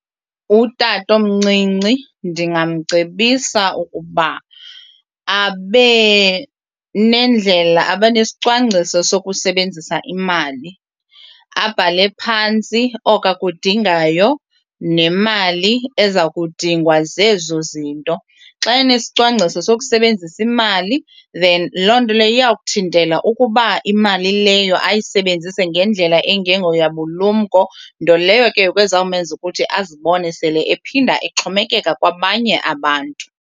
Utatomncinci ndingamcebisa ukuba abe nendlela abe nesicwangciso sokusebenzisa imali abhale phantsi oko akudingayo nemali eza kudingwa zezo zinto. Xa enesicwangciso sokusebenzisa imali then loo nto leyo iya kuthintela ukuba imali leyo ayisebenzise ngendlela engengoyabulumko nto leyo ke ngoku ezawumenza ukuthi azibone sele ephinda exhomekeka kwabanye abantu.